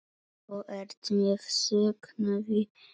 Þú ert með söknuði kvödd.